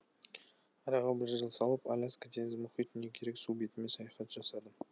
араға бір жыл салып аляска теңіз мұхит не керек су бетімен саяхат жасадым